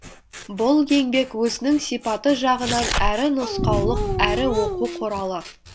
бұл еңбек өзінің сипаты жағынан әрі нұсқаулық әрі оқу құралы